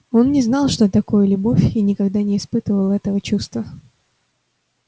он не знал что такое любовь и никогда не испытывал этого чувства